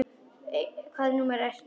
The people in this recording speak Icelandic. Hvaða númer ertu með?